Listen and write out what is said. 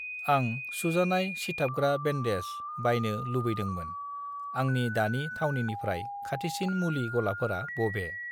आं सुजानाय सिथाबग्रा बेन्डेज बायनो लुबैदोंमोन, आंनि दानि थावनिनिफ्राय खाथिसिन मुलि गलाफोरा बबे?